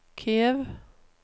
Kiev